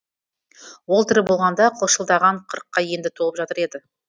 ол тірі болғанда қылшылдаған қырыққа енді толып жатыр еді